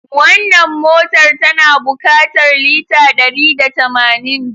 Wannan motar tana bukatar lita dari da tamanin.